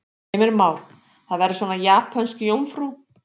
Heimir Már: Það verður svona japönsk jómfrú?